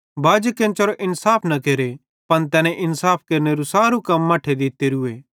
बाजी केन्चेरी इन्साफ न केरे पन तैने इन्साफ केरनेरू सारू कम मट्ठे दित्तेरूए